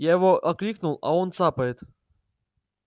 я его окликнул а он цапает